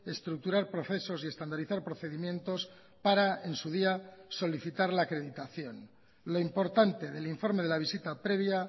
estructurar procesos y estandarizar procedimientos para en su día solicitar la acreditación lo importante del informe de la visita previa